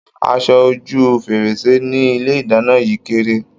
Aṣọ ojú fèrèsé ní ilé ìdáná yìí kéré.